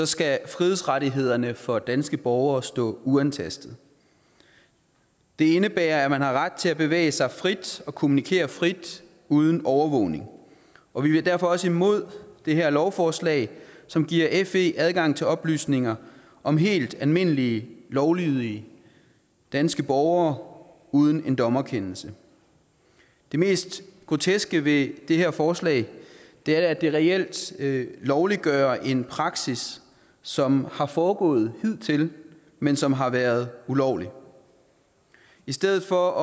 skal frihedsrettighederne for danske borgere stå uantastet det indebærer at man har ret til at bevæge sig frit og kommunikere frit uden overvågning og vi er derfor også imod det her lovforslag som giver fe adgang til oplysninger om helt almindelige lovlydige danske borgere uden en dommerkendelse det mest groteske ved det her forslag er at det reelt lovliggør en praksis som har foregået hidtil men som har været ulovlig i stedet for